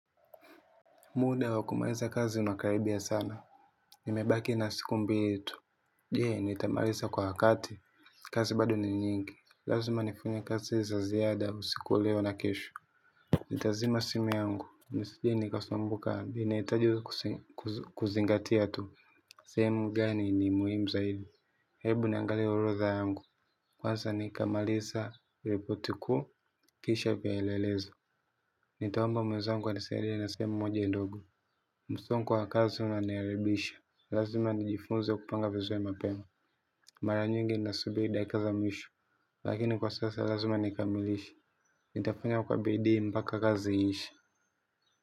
Muda wakumaliza kazi unakaribia sana. Nimebaki na siku mbili tu. Je nitamaliza kwa wakati kazi bado ni nyingi. Lazima nifanye kazi za ziada usiku wa leo na kesho nitazima simu yangu nisije kusumbuka ninahitaji kusingatia tu sehemu gani yenye muhimu zaidi. Hebu niangalie urotha yangu. Kwaza nikamalisa ripoti kuu kisha piaelelezo. Nitaomba mwezaangu anisaidie na semu moja ndogo. Musonga wa kazi unanayaribisha. Lazima nijifunza kupanga vizuri mapema. Mara nyingi nasubiri dakika za mwisho. Lakini kwa sasa lazima nikamilishe nitafanya kwa bidi mpaka kazi ishe.